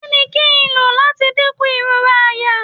Kini kín lo m lati dinku irora àyà?